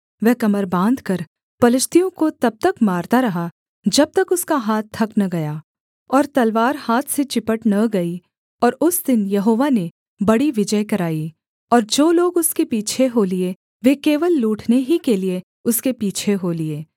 वह कमर बाँधकर पलिश्तियों को तब तक मारता रहा जब तक उसका हाथ थक न गया और तलवार हाथ से चिपट न गई और उस दिन यहोवा ने बड़ी विजय कराई और जो लोग उसके पीछे हो लिए वे केवल लूटने ही के लिये उसके पीछे हो लिए